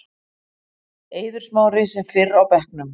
Eiður Smári sem fyrr á bekknum